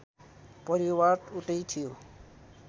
परिवार उतै थियो